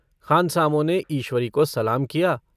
खानसामों ने ईश्वरी को सलाम किया।